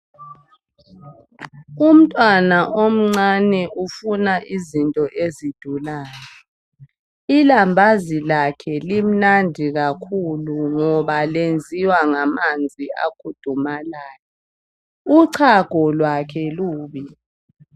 Umntwana omncane ufuna izinto ezidulayo ilambazi lakhe limnandi kakhulu ngoba lenziwa ngamanzi akudumalayo Uchago lwakhe lubi